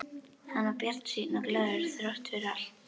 Hann var bjartsýnn og glaður þrátt fyrir allt.